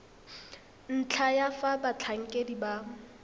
ntlha ya fa batlhankedi ba